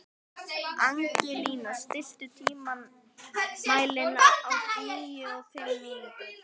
Angelína, stilltu tímamælinn á níutíu og fimm mínútur.